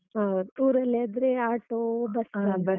ಹೌದು. ಊರಲ್ಲಿಯಾದ್ರೆ auto, bus